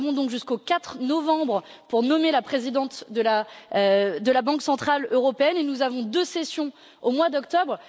Nous avons donc jusqu'au 4 novembre pour nommer la présidente de la Banque centrale européenne et nous avons deux sessions au mois d'octobre.